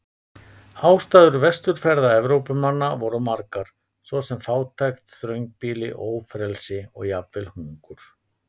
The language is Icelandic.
Ástæður vesturferða Evrópumanna voru margar, svo sem fátækt, þröngbýli, ófrelsi og jafnvel hungur.